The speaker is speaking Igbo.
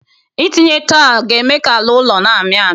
Ị tinye taịlu ga-eme ka ala ụlọ na-amị amị